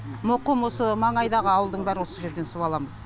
мұқым осы маңайдағы ауылдың бәрі осы жерден су аламыз